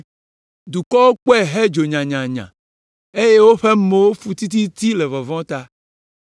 Dukɔwo kpɔe hedzo nyanyanya eye woƒe mowo fu tititi le vɔvɔ̃ ta.